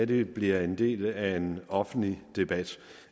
det bliver en del af en offentlig debat